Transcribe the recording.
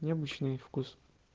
необычный вкус